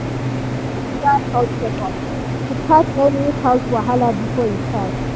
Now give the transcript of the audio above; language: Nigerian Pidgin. e arrange regular health checkups to catch any health wahala before e start.